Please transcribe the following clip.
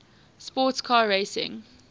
sports car racing